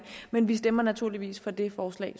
men vi stemmer naturligvis for det forslag